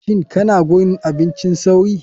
Shin kana gurin abincin sauri.